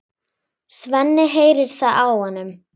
Svenni heyrir það á honum.